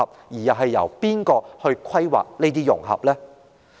又是由誰來規劃這些融合呢？